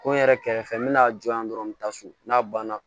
Ko n yɛrɛ kɛrɛfɛ n bɛna a jɔ yan dɔrɔn n bɛ taa so n'a banna